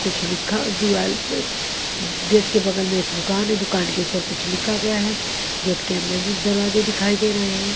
कुछ लिखा दिवाल पे गेट के बगल में एक दुकान है दुकान के ऊपर कुछ लिखा गया है गेट के अंदर भी दुकान दिखाई दे रहे हैं।